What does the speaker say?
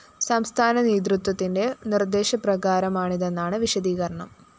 സംസ്ഥാന നേതൃത്വത്തിന്റെ നിര്‍ദ്ദേശപ്രകാരമാണിതെന്നാണ്‌ വിശദീകരണം